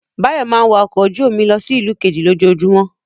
Báyọ̀ máa ń wa ọkọ̀ ojú-omi lọ sí ìlú kejì lójoojúmọ́.